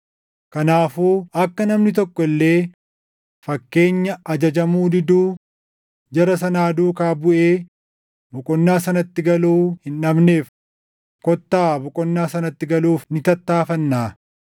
Kanaafuu akka namni tokko illee fakkeenya ajajamuu diduu jara sanaa duukaa buʼee boqonnaa sanatti galuu hin dhabneef kottaa boqonnaa sanatti galuuf ni tattaaffannaa.